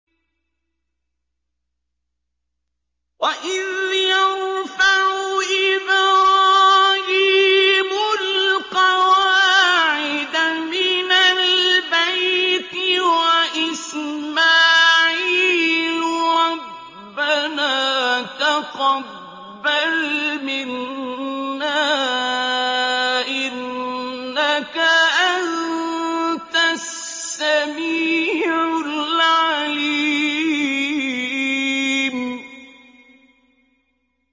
وَإِذْ يَرْفَعُ إِبْرَاهِيمُ الْقَوَاعِدَ مِنَ الْبَيْتِ وَإِسْمَاعِيلُ رَبَّنَا تَقَبَّلْ مِنَّا ۖ إِنَّكَ أَنتَ السَّمِيعُ الْعَلِيمُ